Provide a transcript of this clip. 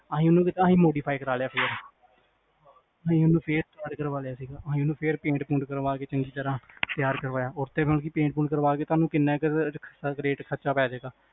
ਅਸੀਂ ਓਹਨਾ ਨੂੰ ਜਿਦਾਂ modify ਕਰਾ ਲਿਆ ਸੀਗਾ ਓਹਨਾ ਨੂੰ ਫੇਰ ਕਰਵਾਲਿਆ ਸੀ ਗਾ ਅਸੀਂ ਓਹਨਾ ਨੂੰ ਪੇਟਪੁੰਟ ਕਰਵਾ ਕ ਚੰਗੀ ਤਰਾਂ ਤਿਆਰ ਕਰਵਾਇਆ ਉਤੇ ਪੇਟ ਪੁੰਟ ਕਰਾ ਕ ਤੁਹਾਨੂੰ ਕਿਹਨਾਂ ਕ ਖਰਚਾ ਪੇਜੇਗਾ